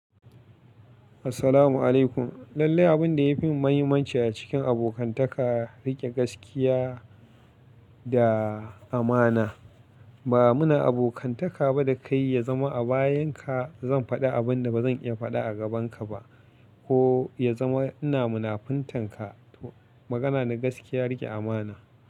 Assalamu alaikum. Lallai abun da ya fi mahimmanci a cikin abokantaka, riƙe gaskiya da amana. Ba muna abokantaka ba da kai ya zama a bayanka, zan faɗi abin da ba zan iya faɗa a gabanka ba, ko ya zama ina munafuntanka. Magana na gaskiya riƙe amana.